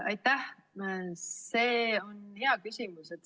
Aitäh!